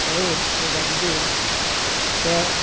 Para eles, para a idade deles, certo?